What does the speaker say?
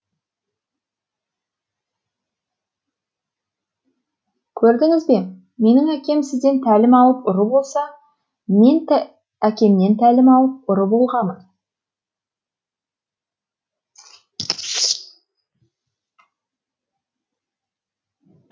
көрдініз бе менің әкем сізден тәлім алып ұры болса мен әкемнен тәлім алып ұры болғамын